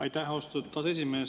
Aitäh, austatud aseesimees!